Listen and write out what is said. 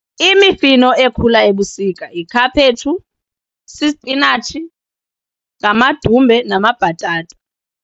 Imifino ekhula ebusika yikhaphetshu, sisipinatshi, ngamadumbe namabhatata.